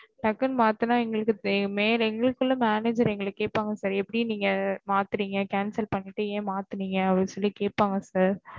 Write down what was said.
டக்குன்னு மாத்துன்னா எங்களுக்கு உள்ள manager எங்கள கேப்பாங்க sir எப்டி நீங்க மாத்துநேங்க cancel பண்ணிட்டு எப்டி மாத்துநேங்க அப்டி கேப்பாங்க sir